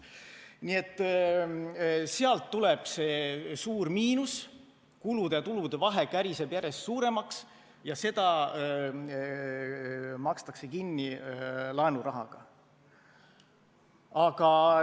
Sealt tuleb see suur miinus, kulude ja tulude vahe käriseb järjest suuremaks ja seda makstakse kinni laenurahaga.